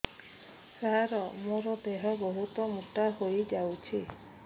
ସାର ମୋର ଦେହ ବହୁତ ମୋଟା ହୋଇଯାଉଛି